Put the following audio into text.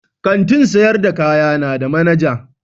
Kantin sayar da kaya na da manaja.